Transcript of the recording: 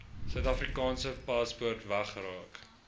suidafrikaanse paspoort weggeraak